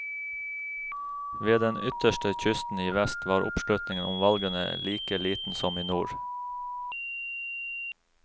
Ved den ytterste kysten i vest var oppslutningen om valgene like liten som i nord.